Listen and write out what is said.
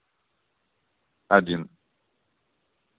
один